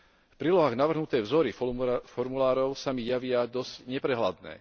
V prílohách navrhnuté vzory formulárov sa mi javia dosť neprehľadné.